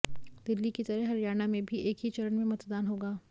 दिल्ली की तरह हरियाणा में भी एक ही चरण में मतदान होगा